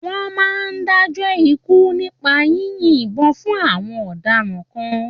Wọ́n máa ń dájọ́ ikú nípa yínyin ìbọn fún àwon ọ̀daràn kan.